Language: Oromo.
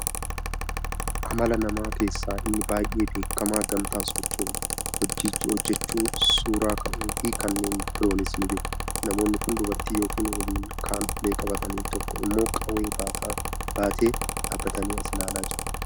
Amala namaa keessaa ini baay'ee beekamaa gamtaan socho'uu, hojjechuu, suura ka'uu fi kannee biroonis jiru. Namoonni kun dubartii yokko waliin kaan ulee qabatanii, tokko immoo qawwee baatee dhaabatanii as ilaalaa jiru.